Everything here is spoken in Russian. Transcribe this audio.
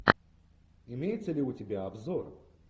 имеется ли у тебя обзор